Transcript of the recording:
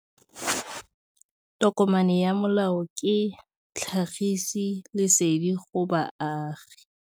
Tokomane ya molao ke tlhagisi lesedi go baagi.